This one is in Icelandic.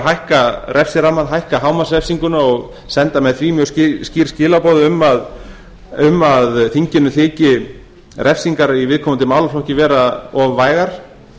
hækka refsirammann hækka hámarksrefsinguna og senda með því mjög skýr skilaboð um að eingöngu þyki refsingar í viðkomandi málaflokki vera of vægar